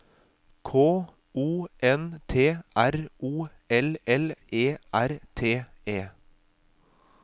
K O N T R O L L E R T E